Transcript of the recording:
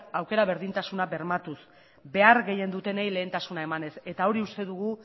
aukera berdintasuna bermatuz behar gehien dutenei lehentasuna emanez eta hori uste dugu